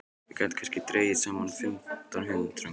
Við gætum kannski dregið saman fimmtán hundruð manns.